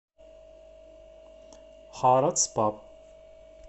харатс паб